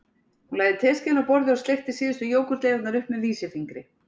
Hún lagði teskeiðina á borðið og sleikti síðustu jógúrtleifarnar upp með vísifingri